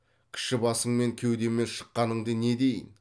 кіші басыңмен кеудеме шыққаныңды не дейін